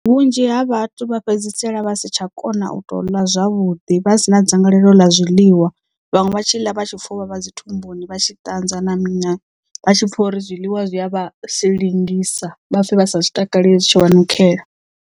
Vhunzhi ha vhathu vha fhedzisela vha si tsha kona u to ḽa zwavhuḓi vha sina dzangalelo ḽa zwiḽiwa vhaṅwe vha tshi ḽa vha tshi pfa uvhavha dzi thumbuni vha tshi ṱanzwa na mini vha tshi pfha uri zwiḽiwa zwi a vha silingisa vha pfhe vha sa zwi takale zwi tshi vha nukhela.